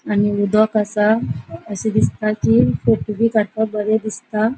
आणि उदक असा अशे दिसता कि फोटो बी काड़पाक बरे दिसता.